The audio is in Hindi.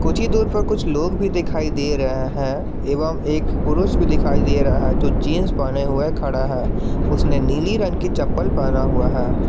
कुछी दूर पर कुछ लोग दिखाई दे रहे हैं एवं एक पुरुष भी दिखाई दे रहा है जो जींस पहना हुआ खड़ा है उसने नीली रंग की चप्पल पहना हुआ है।